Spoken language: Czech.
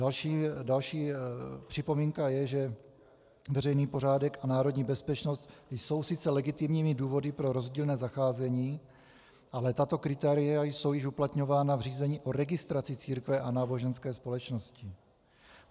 Další připomínka je, že veřejný pořádek a národní bezpečnost jsou sice legitimními důvody pro rozdílné zacházení, ale tato kritéria jsou již uplatňována v řízení o registraci církve a náboženských společností.